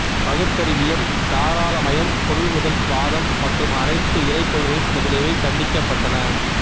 பகுத்தறிவியம் தாராளமயம் பொருள்முதல் வாதம் மற்றும் அனைத்து இறைக் கொள்கை முதலியவை கண்டிக்கப்பட்டட்ன